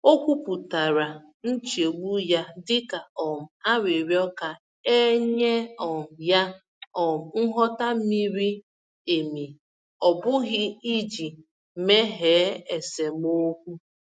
O kwupụtara nchegbu ya dịka um arịrịọ ka e nye um ya um nghọta miri emi, ọ bụghị iji meghee esemokwu.